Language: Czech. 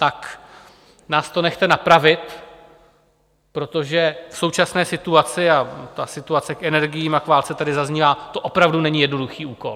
Tak nás to nechte napravit, protože v současné situaci, a ta situace k energiím a k válce tady zaznívá, to opravdu není jednoduchý úkol.